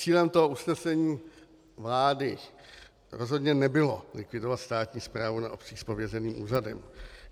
Cílem toho usnesení vlády rozhodně nebylo likvidovat státní správu na obcích s pověřeným úřadem.